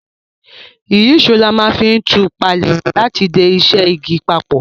Ìyíṣòó ni a ma n fi tù palẹ́ àti de isẹ́ igi papò